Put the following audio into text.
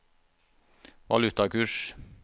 valutakurs